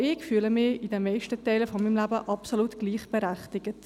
Auch ich fühle mich in den meisten Teilen meines Lebens absolut gleichberechtigt.